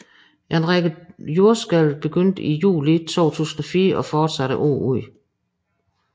En række dybe jordskælv begyndte i juli 2004 og fortsatte året ud